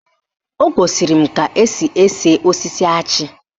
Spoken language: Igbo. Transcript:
O gosiri m ka esi ese osisi achị